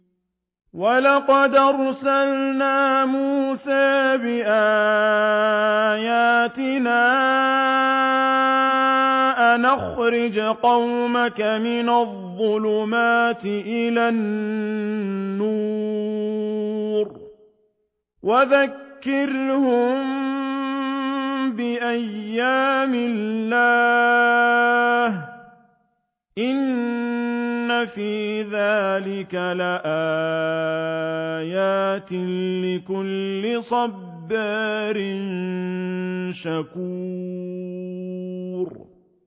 وَلَقَدْ أَرْسَلْنَا مُوسَىٰ بِآيَاتِنَا أَنْ أَخْرِجْ قَوْمَكَ مِنَ الظُّلُمَاتِ إِلَى النُّورِ وَذَكِّرْهُم بِأَيَّامِ اللَّهِ ۚ إِنَّ فِي ذَٰلِكَ لَآيَاتٍ لِّكُلِّ صَبَّارٍ شَكُورٍ